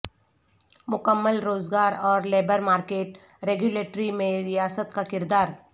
مکمل روزگار اور لیبر مارکیٹ ریگولیٹری میں ریاست کا کردار